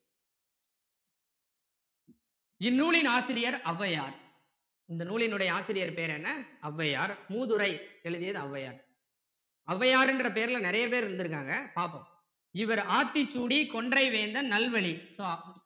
இந்நூலின் ஆசிரியர் ஔவையார் இந்த நூலினுடைய ஆசிரியர் பெயர் என்ன ஔவையார் மூதுரை எழுதியது ஔவையார் ஔவையாருன்ற பேருல நிறைய பேர் இருந்திருக்காங்க பார்ப்போம் இவர் ஆத்திச்சூடி கொன்றை வேந்தன் நல்வழி